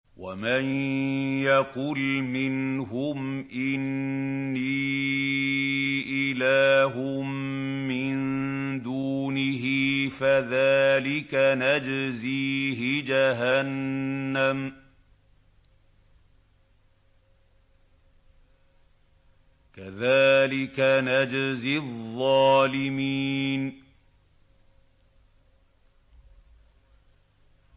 ۞ وَمَن يَقُلْ مِنْهُمْ إِنِّي إِلَٰهٌ مِّن دُونِهِ فَذَٰلِكَ نَجْزِيهِ جَهَنَّمَ ۚ كَذَٰلِكَ نَجْزِي الظَّالِمِينَ